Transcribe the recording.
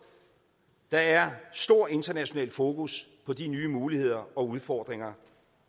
der er stor international fokus på de nye muligheder og udfordringer